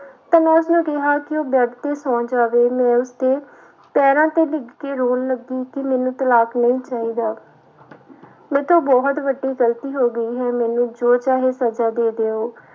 ਤਾਂ ਮੈਂ ਉਸਨੂੰ ਕਿਹਾ ਕਿ ਉਹ ਬੈਡ ਤੇ ਸੌ ਜਾਵੇ ਮੈਂ ਉਸਦੇ ਪੈਰਾਂ ਤੇੇ ਡਿੱਗ ਕੇ ਰੌਣ ਲੱਗੀ ਕਿ ਮੈਨੂੂੰ ਤਲਾਕ ਨਹੀਂ ਚਾਹੀਦਾ ਮੈਥੋਂ ਬਹੁਤ ਵੱਡੀ ਗ਼ਲਤੀ ਹੋ ਗਈ ਹੈ, ਮੈਨੂੰ ਜੋ ਚਾਹੇ ਸਜਾ ਦੇ ਦਿਓ।